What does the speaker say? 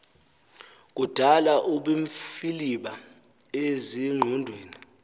kudala ubumfiliba ezingqondweni